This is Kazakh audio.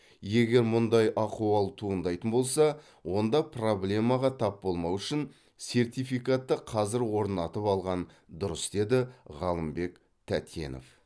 егер мұндай ахуал туындайтын болса онда проблемаға тап болмау үшін сертификатты қазір орнатып алған дұрыс деді ғалымбек тәтенов